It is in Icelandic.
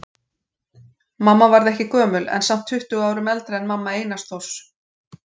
Mamma varð ekki gömul en samt tuttugu árum eldri en mamma Einars Þórs.